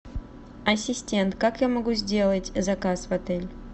ассистент как я могу сделать заказ в отеле